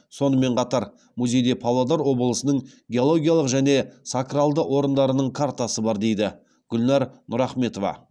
сонымен қатар музейде павлодар облысының геологиялық және сакралды орындарының картасы бар дейді гүлнәр нұрахметова